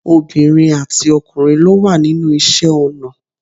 Obìnrin àti ọkùnrin ló wà nínú iṣẹ́ ọnà